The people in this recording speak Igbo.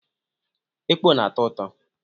Ekpọ na-atọ ụtọ.